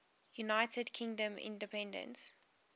united kingdom independence